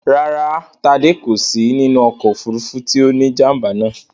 Rárá, Tádé kò sí nínú ọkọ̀ òfúrufú tí ó ní jàm̀bà náà